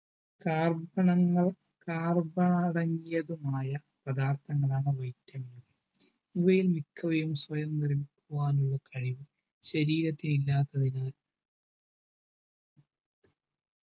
carbon ങ്ങൾ പദാർത്ഥങ്ങളാണ് vitamin ക ഇവയിൽ മിക്കവയും സ്വയം നിർമ്മിക്കുവാനുള്ള കഴിവ് ശരീരത്തിന് ഇല്ലാത്തതിനാൽ